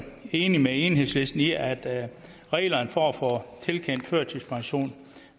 enige med enhedslisten i at reglerne for at få tilkendt førtidspension